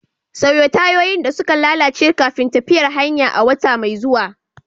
Sauya tayoyin da suka lalace kafin tafiyar hanya a wata mai zuwa.